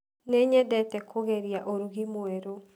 Nĩnyedete kũgeria ũrugi mwerũ.